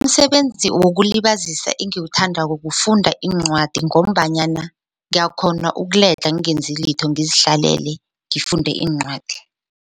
Umsebenzi wokulibazisa engiwuthandako kufunda iincwadi ngombanyana ngiyakghona ukuledlha ngingenzi litho ngizihlalele ngifunde iincwadi.